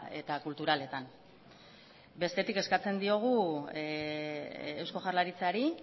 eta kulturaletan bestetik eskatzen diogu eusko jaurlaritzari